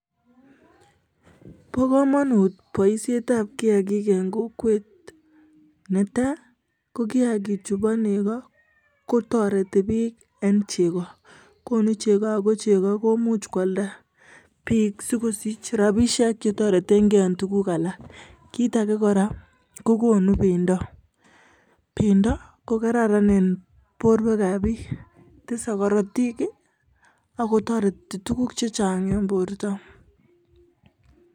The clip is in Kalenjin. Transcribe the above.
Bo komonut boishietab kiyaagik en kokwet, netai ko kiyaagik chubo negoo kotoretii bik en chegoo. Konuu chegoo ako chegoo kimuch kildaa bik sikosich rabisiek che toreten gee en tuguuk alak. Kitage kora ko konuu bendoo, bendoo ko koraran en borwekab bik, tesee korotik ak kotoretii tuguk chechang en bortoo.